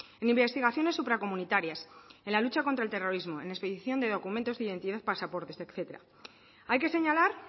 en investigaciones supracomunitarias en la lucha contra el terrorismo en expedición de documentos de identidad pasaportes etcétera hay que señalar